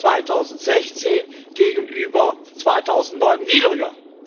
2016 gegenüber 2009 niedriger.